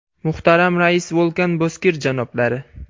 Muhtaram Rais Vo‘lkan Bozkir janoblari!